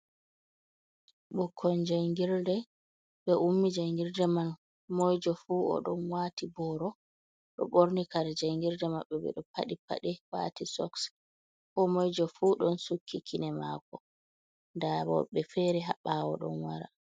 Bukkon jangirde be ummi jangirde man. Moijo fu odon wati boro ɗo borni kare jangirde mabɓe. Be ɗo paɗi padi wati soss. ko moijo fu don sukki kine mako. Nɗa hobbe fere ha bawo ɗon wara.